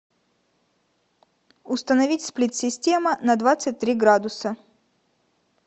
установить сплит система на двадцать три градуса